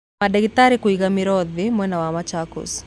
Madagĩtarĩ kũiga mĩro thĩ mwena wa Machakos